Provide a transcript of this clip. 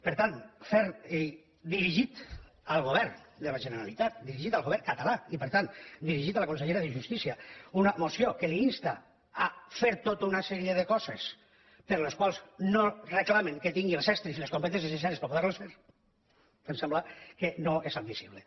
per tant fer i dirigir al govern de la generalitat dirigir al govern català i per tant dirigit a la consellera de justícia una moció que l’insta a fer tota una sèrie de coses per a les quals no reclamen que tinguin els estris i les competències necessàries per a poder les fer em sembla que no és admissible